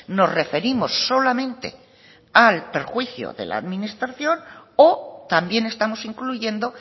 nos referimos solamente al perjuicio de la administración o también estamos incluyendo